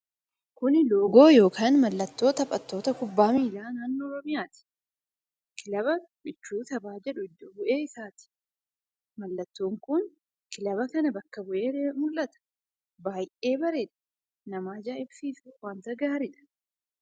Kun loogoo yookaan mallattoo taphattoota kubbaa miilaa naannoo Oromiyaati. Kilaba michuu taphaa kan jedhu iddo bu'ee isaati. Mallattoon kun kilaba kana bakka bu'ee mul'ata: baay'ee bareeda. Nama ajaa'ibsiisas, wanta gaariidha.